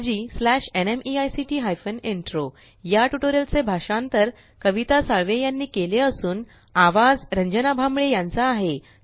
spoken tutorialorgnmeict intro या tutorial चे भाषांतर आवाज कविता साळवे यानी केले असून आवाज रंजना भांबळे यांचा आहे